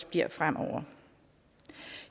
bliver fremover